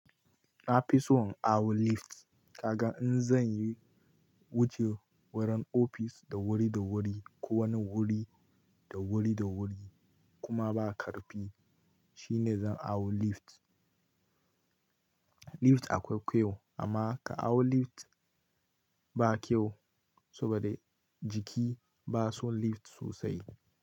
Na fi so in hau lift. Kaga in zan yi wuce wurin ofis da wuri da wuri ko wani wuri da wuri da wuri kuma ba ƙarfi, shine zan hau lift. Lift akwai kyau amma ka hau lift ba kyau saboda jiki ba son lift sosai.